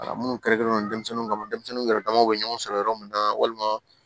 Minnu kɛrɛnkɛrɛnnen don denmisɛnninw kama denmisɛnninw yɛrɛ damaw bɛ ɲɔgɔn sɔrɔ yɔrɔ min na walima